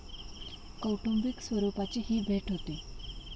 कौटुंबिक स्वरुपाची ही भेट होती.